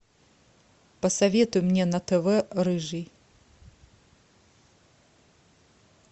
посоветуй мне на тв рыжий